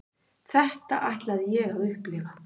Þetta ætlaði ég að upplifa.